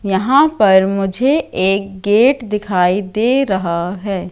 यहां पर मुझे एक गेट दिखाई दे रहा हैं।